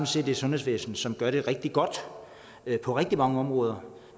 set et sundhedsvæsen som gør det rigtig godt på rigtig mange områder